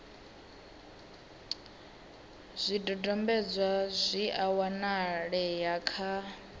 zwidodombedzwa zwi a wanalea kha